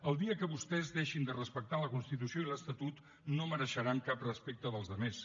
el dia en què vostès deixin de respectar la constitució i l’estatut no mereixeran cap respecte de la resta